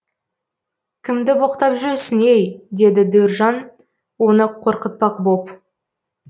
кімді боқтап жүрсің ей деді дөржан оны қорқытпақ боп